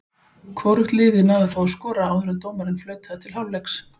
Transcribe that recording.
Hvorugt liðið náði þó að skora áður en dómarinn flautaði til hálfleiks.